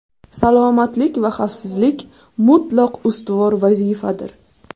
Salomatlik va xavfsizlik mutlaq ustuvor vazifadir.